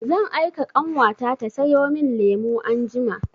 Zan aika ƙanwata ta sayo min lemu anjima.